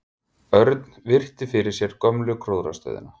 Örn virti fyrir sér gömlu gróðrarstöðina.